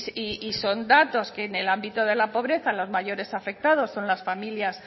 y son datos que en el ámbito de la pobreza los mayores afectados son las familias